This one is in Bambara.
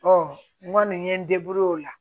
n kɔni ye n o la